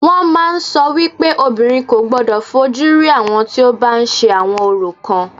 Wọ́n màá ń sọ wípé obìnrin kò gbodò fojú rí àwọn tí o bá ń ṣe àwọn orò kan.